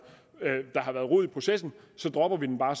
rod i processen så dropper vi den bare